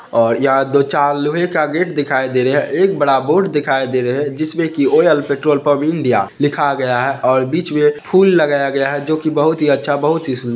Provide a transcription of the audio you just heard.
और यहाँ दो-चार लोहे का गेट दिखाई दे रहे है एक बड़ा बोर्ड दिखाई दे रहे है जिसमे की ऑयल पेट्रोल पम्प इंडिया लिखा गया है और बीच में फूल लगाया गया है जोकि बहुत हीं अच्छा बहुत ही सूं --